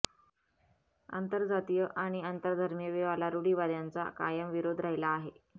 आंतरजातीय आणि आंतरधर्मीय विवाहाला रुढीवाद्यांचा कायम विरोध राहिला आहे